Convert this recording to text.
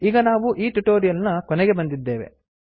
ಈಗ ನಾವು ಈ ಟ್ಯುಟೊರಿಯಲ್ ನ ಕೊನೆಗೆ ಬಂದಿದ್ದೇವೆ